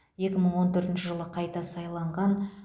екі мың он төртінші жылы қайта сайланған